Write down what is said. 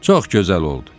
Çox gözəl oldu.